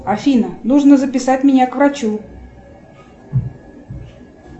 афина нужно записать меня к врачу